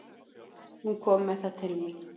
Hún kom með það til mín.